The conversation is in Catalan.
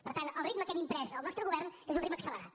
per tant el ritme que hem imprès al nostre govern és un ritme accelerat